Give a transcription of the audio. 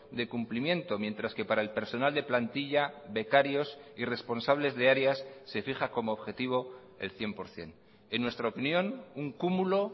de cumplimiento mientras que para el personal de plantilla becarios y responsables de áreas se fija como objetivo el cien por ciento en nuestra opinión un cúmulo